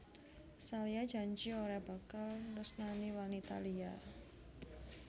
Salya janji ora bakal nresnani wanita liya